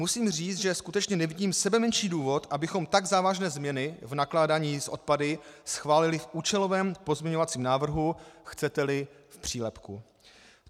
Musím říci, že skutečně nevidím sebemenší důvod, abychom tak závažné změny v nakládání s odpady schválili v účelovém pozměňovacím návrhu, chcete-li, v přílepku.